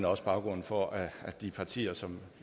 også baggrunden for at de partier som